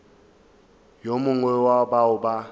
yo mongwe wa bao ba